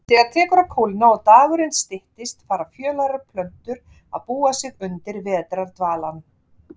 Þegar tekur að kólna og dagurinn styttist fara fjölærar plöntur að búa sig undir vetrardvalann.